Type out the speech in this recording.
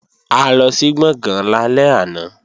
A lọ sí Gbọ̀ngán lálẹ́ àná